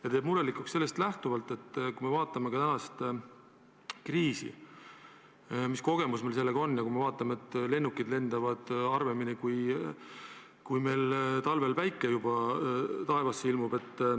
Ja teeb murelikuks ka sellest lähtuvalt, et kui me vaatame kas või praegust kriisi, siis näeme taevas lennukit harvemini, kui meil talvel päike sinna ilmub.